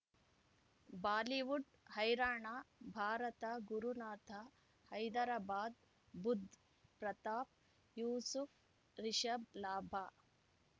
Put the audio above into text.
Bollywood Haryana Bharat Gurunath Hyderabad Budh Pratap Yusuf Rishabh ಲಾಭ